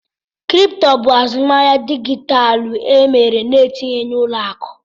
Kripto bụ azụmahịa dijitalụ eme na-etinyeghị ụlọ akụ